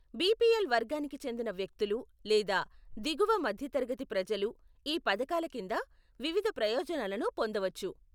BPL వర్గానికి చెందిన వ్యక్తులు లేదా దిగువ మధ్యతరగతి ప్రజలు ఈ పథకాల కింద వివిధ ప్రయోజనాలను పొందవచ్చు.